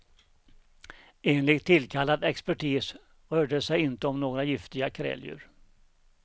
Enligt tillkallad expertis rörde det sig inte om några giftiga kräldjur.